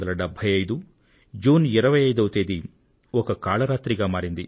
1975 June 25వ తేదీ ఒక కాళరాత్రిగా మారింది